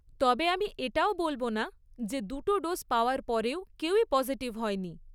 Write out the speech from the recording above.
তবে আমি এটাও বলব না যে দুটো ডোজ পাওয়ার পরেও কেউই পসিটিভ হয়নি।